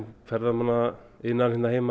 ferðamannaiðnaðurinn